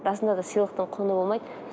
расында да сыйлықтың құны болмайды